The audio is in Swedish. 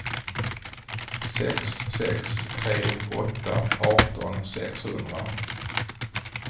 sex sex tre åtta arton sexhundra